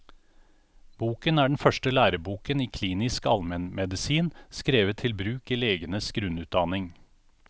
Boken er den første læreboken i klinisk allmennmedisin, skrevet til bruk i legenes grunnutdanning.